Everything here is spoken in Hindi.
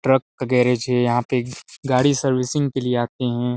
ट्रक गैराज हैं यहाँ पे गाडी सर्विसिंग के लिए आते है।